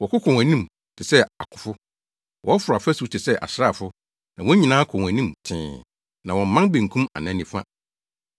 Wɔko kɔ wɔn anim te sɛ akofo; wɔforo afasu te sɛ asraafo na wɔn nyinaa kɔ wɔn anim tee, na wɔmman benkum anaa nifa.